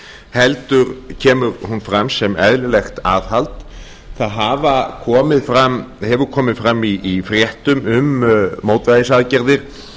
heldur kemur hún fram sem eðlilegt aðhald það hafa komið fram í fréttum um mótvægisaðgerðir